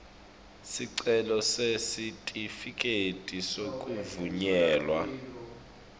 sicelo sesitifiketi sekuvunyelwa